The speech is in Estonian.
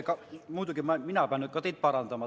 Muidugi, mina pean nüüd ka teid parandama.